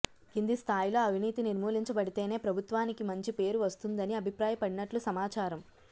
కింది స్థాయిలో అవినీతి నిర్మూలించబడితేనే ప్రభుత్వానికి మంచి పేరు వస్తుందని అభిప్రాయపడినట్లు సమాచారం